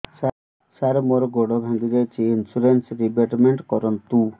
ସାର ମୋର ଗୋଡ ଭାଙ୍ଗି ଯାଇଛି ଇନ୍ସୁରେନ୍ସ ରିବେଟମେଣ୍ଟ କରୁନ୍ତୁ